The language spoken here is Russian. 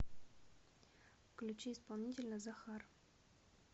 включи исполнителя захар